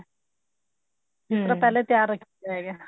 ਉਸ ਤੋਂ ਪਹਿਲੇ ਤਿਆਰ ਰੱਖੀ ਦਾ ਹੈਗਾ